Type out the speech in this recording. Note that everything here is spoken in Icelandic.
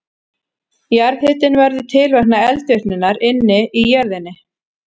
Jarðhitinn verður til vegna eldvirkninnar inni í jörðinni.